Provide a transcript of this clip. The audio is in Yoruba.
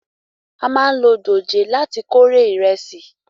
A máa ń lò dòjé láti kórè ìrẹsì